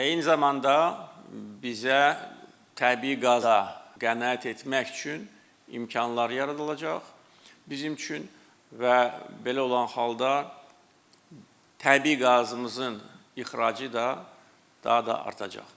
Və eyni zamanda bizə təbii qaza qənaət etmək üçün imkanlar yaradılacaq bizim üçün və belə olan halda təbii qazımızın ixracı da daha da artacaq.